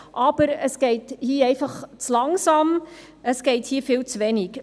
Aber es geht hier zu langsam vorwärts, und es geschieht zuwenig.